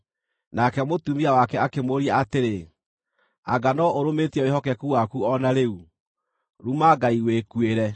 Nake mũtumia wake akĩmũũria atĩrĩ, “Anga no ũrũmĩtie wĩhokeku waku o na rĩu? Ruma Ngai wĩkuĩre!”